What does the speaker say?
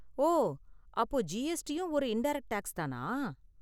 ஓ, அப்போ ஜிஎஸ்டியும் ஒரு இன்டைரக்ட் டேக்ஸ் தானா?